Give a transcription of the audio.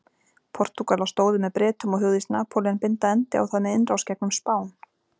Portúgalar stóðu með Bretum og hugðist Napóleon binda endi á það með innrás gegnum Spán.